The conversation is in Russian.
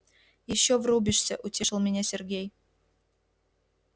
ещё врубишься утешил меня сергей